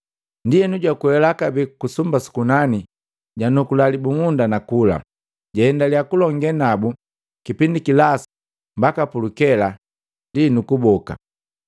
Ndienu jwakwela kabee ku sumba sukunani, janukula libumunda nakula, jaaendilia kulonge nabu kipindi kilasu mbaki pulukela, ndi nu kuboka.